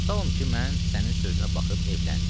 Tutalım ki, mən sənin sözünə baxıb evləndim.